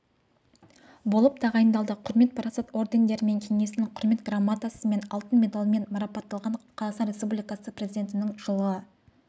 болып тағайындалды құрмет парасат ордендерімен кеңесінің құрмет грамотасымен алты медальмен марапатталған қазақстан республикасы президентінің жылғы